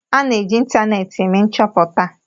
A na-eji ịntanetị eme nchoputa